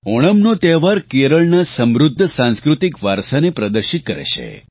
ઓણમનો તહેવાર કેરળના સમૃદ્ધ સાંસ્કૃતિક વારસાને પ્રદર્શિત કરે છે